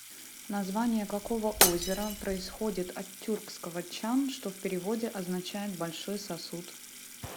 название какого озера происходит от тюркского чан что в переводе означает большой сосуд